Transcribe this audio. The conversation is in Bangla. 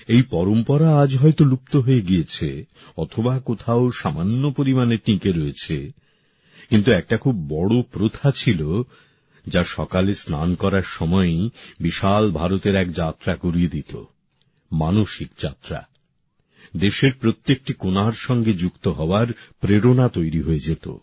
এই পরম্পরা আজ হয়ত লুপ্ত হয়ে গিয়েছে অথবা কোথাও সামান্য পরিমাণে টিঁকে রয়েছে কিন্তু একটা খুব বড় প্রথা ছিল যা সকালে স্নান করার সময়েই বিশাল ভারতের এক যাত্রা করিয়ে দিত মানসিক যাত্রা দেশের প্রত্যেকটি কোণার সঙ্গে যুক্ত হওয়ার প্রেরণা তৈরি হয়ে যেত